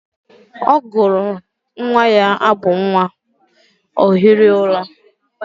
Ọ gụrụla nwa ya abụ nwa, ọ hiri ụra.